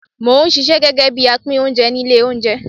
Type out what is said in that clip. Mò ń ṣisẹ́ gẹ́gẹ́ bí apín oúnjẹ ní ilé oúnjẹ.